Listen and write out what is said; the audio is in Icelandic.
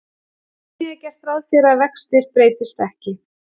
Einnig er gert ráð fyrir að vextir breytist ekki.